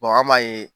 an b'a ye